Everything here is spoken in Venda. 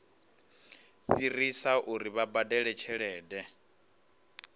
fhirisa uri vha badele tshelede